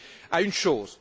à une chose.